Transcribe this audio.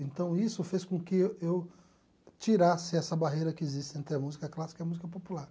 Então isso fez com que eu tirasse essa barreira que existe entre a música clássica e a música popular.